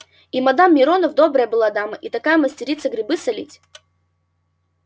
и мадам миронов добрая была дама и какая майстерица грибы солить